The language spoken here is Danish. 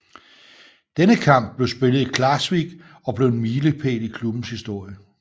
Denne kamp blev spillet i Klaksvík og blev en milepæl i klubbens historie